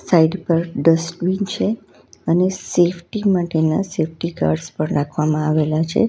Site પર dustbin છે અને સેફટી માટેના સેફટી ગાર્ડ્સ પણ રાખવામાં આવેલા છે.